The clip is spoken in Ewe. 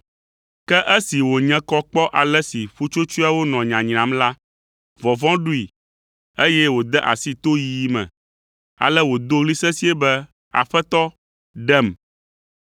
Ke esi wònye kɔ kpɔ ale si ƒutsotsoeawo nɔ nyanyram la, vɔvɔ̃ ɖoe, eye wode asi toyiyi me. Ale wòdo ɣli sesĩe be, “Aƒetɔ, ɖem!”